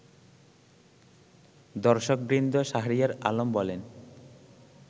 দর্শকবৃন্দ শাহরিয়ার আলম বলেন